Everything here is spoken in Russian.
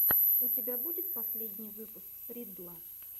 у тебя будет последний выпуск риддла